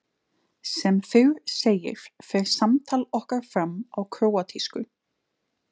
Sem fyrr segir fer samtal okkar fram á króatísku.